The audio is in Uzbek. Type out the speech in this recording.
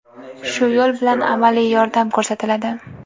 shu yo‘l bilan amaliy yordam ko‘rsatiladi.